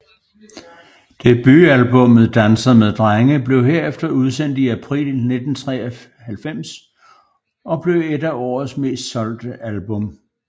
Debutalbummet Danser med Drenge blev herefter udsendt i april 1993 og blev et af årets mest solgte album